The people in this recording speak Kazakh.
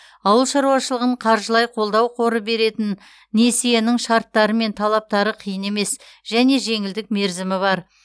ауыл шаруашылығын қаржылай қолдау қоры беретін несиенің шарттары мен талаптары қиын емес және жеңілдік мерзімі бар